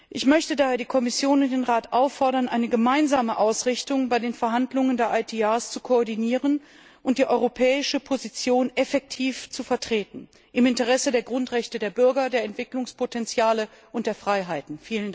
Ich möchte daher die Kommission und den Rat auffordern, eine gemeinsame Ausrichtung bei den Verhandlungen über die ITR zu koordinieren und die europäische Position effektiv zu vertreten im Interesse der Grundrechte der Bürger, der Entwicklungspotenziale und der Freiheiten!